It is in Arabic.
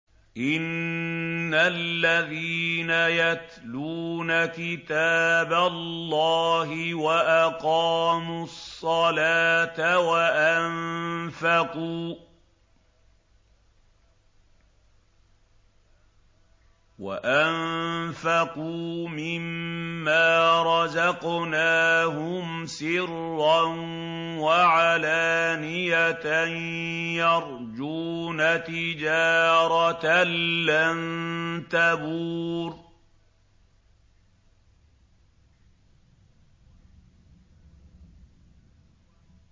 إِنَّ الَّذِينَ يَتْلُونَ كِتَابَ اللَّهِ وَأَقَامُوا الصَّلَاةَ وَأَنفَقُوا مِمَّا رَزَقْنَاهُمْ سِرًّا وَعَلَانِيَةً يَرْجُونَ تِجَارَةً لَّن تَبُورَ